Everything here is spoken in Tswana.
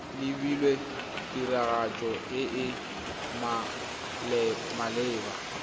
lebilwe tiragatso e e maleba